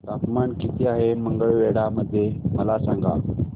तापमान किती आहे मंगळवेढा मध्ये मला सांगा